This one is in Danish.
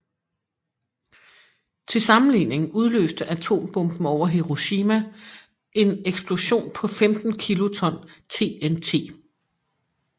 Til sammenligning udløste atombomben over Hiroshima en eksplosion på 15 kiloton TNT